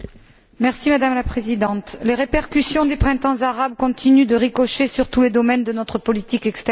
Madame la Présidente, les répercussions du printemps arabe continuent de ricocher sur tous les domaines de notre politique extérieure.